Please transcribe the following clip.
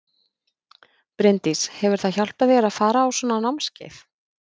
Bryndís: Hefur það hjálpað þér að fara á svona námskeið?